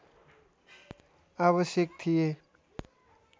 आवश्यक थिए